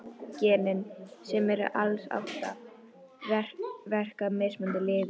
Genin, sem eru alls átta, verka á mismunandi liði.